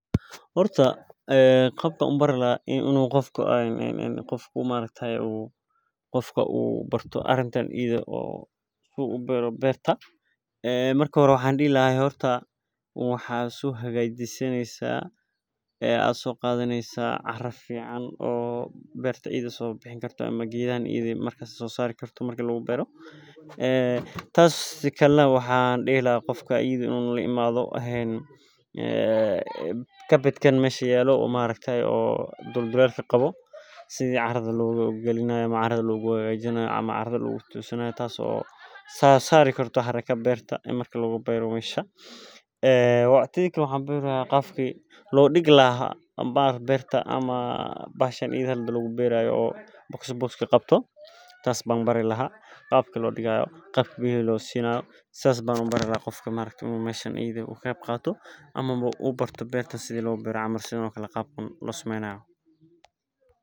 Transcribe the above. Horta qabka an u bari laha qofka u ubarto arinta beerta marki hore waxan dihi laha cara soqado sikalana waxan dihi laha qofka laimaw si caradha logu hagajiyo wabka lidigo ama u ubarto qabka lo digo ama losameyo sheygan